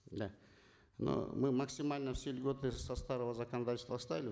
да но мы максимально все льготы со старого законодательства